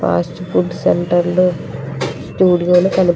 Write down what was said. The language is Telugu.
ఫాస్ట్ ఫుడ్ సెంటర్ లో --